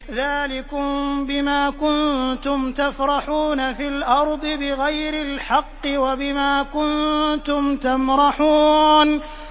ذَٰلِكُم بِمَا كُنتُمْ تَفْرَحُونَ فِي الْأَرْضِ بِغَيْرِ الْحَقِّ وَبِمَا كُنتُمْ تَمْرَحُونَ